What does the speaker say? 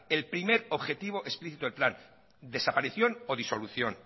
el primer objetivo explicito el plan desaparición o disolución